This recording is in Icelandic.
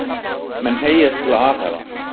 Menn hneigjast til að alhæfa.